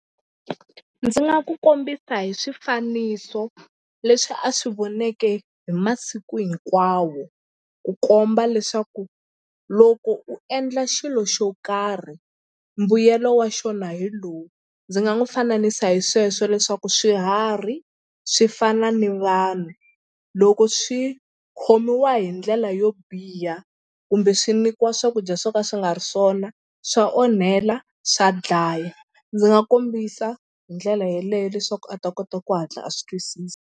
Ndzi nga ku kombisa hi swifaniso leswi a swi voneke hi masiku hinkwawo ku komba leswaku loko u endla xilo xo karhi mbuyelo wa xona hi lowu. Ndzi nga n'wi fananisa hi sweswo leswaku swiharhi swi fana ni vanhu loko swi khomiwa hi ndlela yo biha kumbe swi nyikiwa swakudya swo ka swi nga ri swona swa onhela swa dlaya ndzi nga kombisa hi ndlela yeleyo leswaku a ta kota ku hatla a swi twisisa.